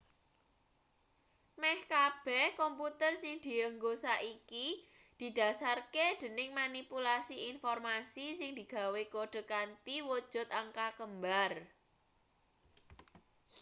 meh kabeh komputer sing dienggo saiki didhasarke dening manipulasi informasi sing digawe kode kanthi wujut angka kembar